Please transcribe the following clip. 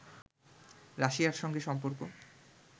রাশিয়ার সঙ্গে সম্পর্ক